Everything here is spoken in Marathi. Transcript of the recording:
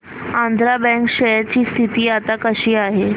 आंध्रा बँक शेअर ची स्थिती आता कशी आहे